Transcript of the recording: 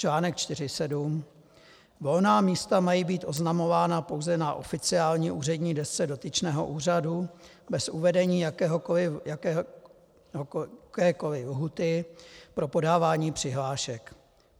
Článek 4.7. Volná místa mají být oznamována pouze na oficiální úřední desce dotyčného úřadu bez uvedení jakékoliv lhůty pro podávání přihlášek.